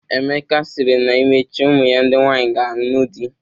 Emeka sịrị na emechaa ụmụ ya ndị nwaanyị ga-anụ di.